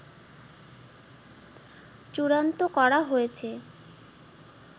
চূড়ান্ত করা হয়েছে